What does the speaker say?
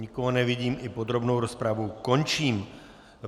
Nikoho nevidím, i podrobnou rozpravu končím.